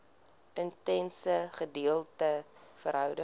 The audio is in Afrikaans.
intense gedeelde verhouding